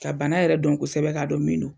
Ka bana yɛrɛ don kosɛbɛ k'a dɔn min don.